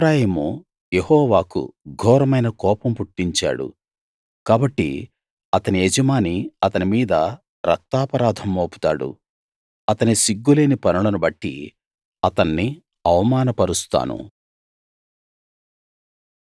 ఎఫ్రాయిము యెహోవాకు ఘోరమైన కోపం పుట్టించాడు కాబట్టి అతని యజమాని అతని మీద రక్తాపరాధం మోపుతాడు అతని సిగ్గులేని పనులను బట్టి అతన్ని అవమానపరుస్తాను